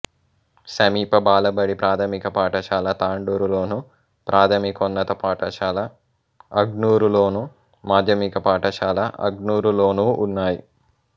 సమీప బాలబడి ప్రాథమిక పాఠశాల తాండూరులోను ప్రాథమికోన్నత పాఠశాల అగ్నూర్లోను మాధ్యమిక పాఠశాల అగ్నూర్లోనూ ఉన్నాయి